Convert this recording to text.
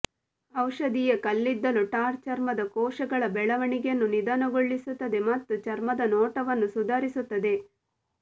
ಔಷಧೀಯ ಕಲ್ಲಿದ್ದಲು ಟಾರ್ ಚರ್ಮದ ಕೋಶಗಳ ಬೆಳವಣಿಗೆಯನ್ನು ನಿಧಾನಗೊಳಿಸುತ್ತದೆ ಮತ್ತು ಚರ್ಮದ ನೋಟವನ್ನು ಸುಧಾರಿಸುತ್ತದೆ